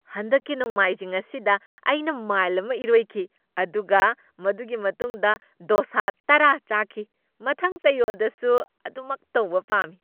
ꯍꯟꯗꯛꯀꯤ ꯅꯣꯡꯃꯥꯏꯖꯤꯡ ꯑꯁꯤꯗ ꯑꯩꯅ ꯃꯥꯏꯜ ꯑꯃ ꯏꯔꯣꯏꯈꯤ, ꯑꯗꯨꯒ ꯃꯗꯨꯒꯤ ꯃꯇꯨꯡꯗ ꯗꯣꯁꯥ ꯇꯔꯥ ꯆꯥꯈꯤ꯫ ꯃꯊꯪ ꯆꯌꯣꯜꯗꯁꯨ ꯃꯗꯨꯃꯛ ꯇꯧꯕ ꯄꯥꯝꯃꯤ ꯫